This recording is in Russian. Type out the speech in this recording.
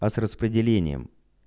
а с распределением